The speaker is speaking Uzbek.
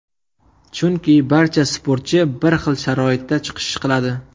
Chunki, barcha sportchi bir hil sharoitda chiqish qiladi.